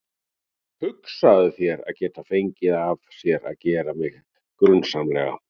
Hugsaðu þér að geta fengið af sér að gera mig grunsamlega.